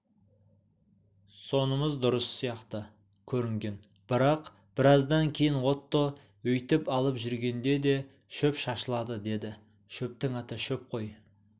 сонымыз дұрыс сияқты көрінген бірақ біраздан кейін отто өйтіп алып жүргенде де шөп шашылады деді шөптің аты шөп қой